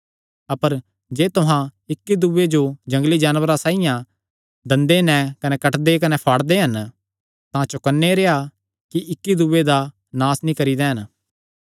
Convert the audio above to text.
अपर जे तुहां इक्क दूये जो जंगली जानवरां साइआं दंदे नैं कटदे कने फाड़दे हन तां चौकन्ने रेह्आ कि इक्की दूये दा नास नीं करी दैंन